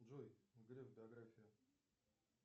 джой греф биография